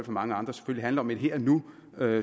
mange andre handler om et her og nu